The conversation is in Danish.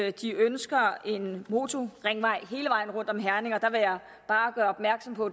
at de ønsker en motorringvej hele vejen rundt om herning og der vil jeg bare gøre opmærksom på